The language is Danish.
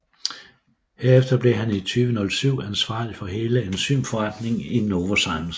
Herefter blev han i 2007 ansvarlig for hele enzymforretningen i Novozymes